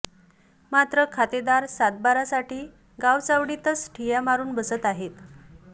मात्र खातेदार सातबारा साठी गावचावडीतच ठिय्या मारून बसत आहेत